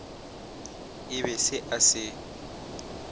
e be se a se